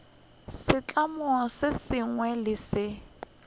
setlamo se sengwe le se